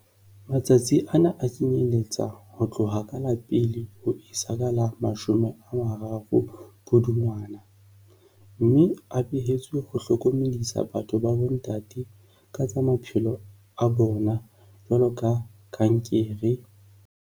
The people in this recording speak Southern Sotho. Matsatsi ana a kenyelletsa ho tloha ka la pele ho isa ka la mashome a mararo Pudungwana mme a behetswe ho hlokomedisa batho ba bontate ka tsa maphelo a bona jwalo ka kankere...